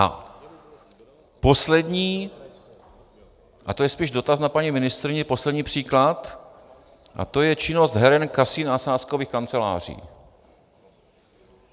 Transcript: A poslední, a to je spíš dotaz na paní ministryni, poslední příklad, a to je činnost heren, kasin a sázkových kanceláří.